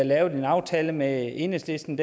lavede en aftale med enhedslisten